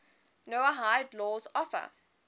noahide laws offer